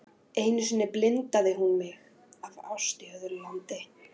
Einu sinni blindaði hún mig af ást í öðru landi.